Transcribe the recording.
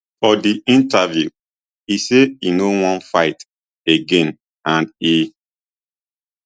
for di interview e say e no wan fight again and e